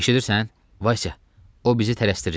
Eşidirsən, Vasya, o bizi tələsdirir.